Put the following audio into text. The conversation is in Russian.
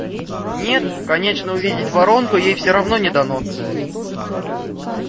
нет конечно увидеть воронку ей все равно не дано